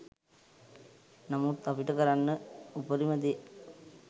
නමුත් අපිට කරන්න උපරිම දේ